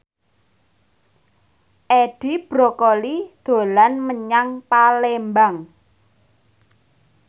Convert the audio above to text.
Edi Brokoli dolan menyang Palembang